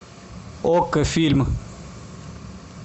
окко фильм